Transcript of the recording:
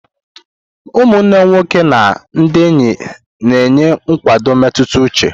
Ụmụnne nwoke na ndị enyi na-enye nkwado mmetụta uche.